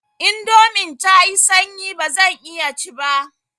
Indomin tayi sanyi bazan iya ci ba.